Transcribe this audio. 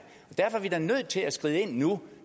vi da nødt til at skride ind nu